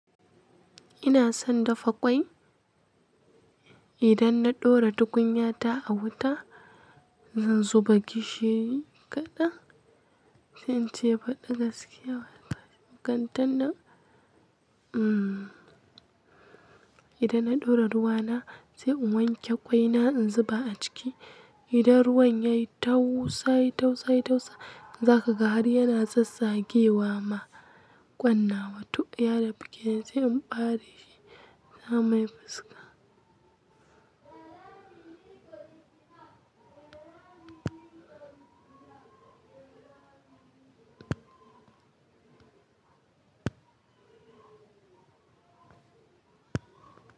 Ina son dafa ƙwai. Idan na ɗora tukunya ta a wuta, zan zuba gishiri kaɗan, sai in ce faɗi gaskiya. Kantin nan, umm, idan na ɗora ruwa na, sai in wanke ƙwai na in zuba a ciki. Idan ruwan yayi tausa, yayi tausa, yayi tausa, zaka ga har yana tsatsagewa ma ƙwan nawa tom yada fiken sai in ɓare shi, ya mai fuska.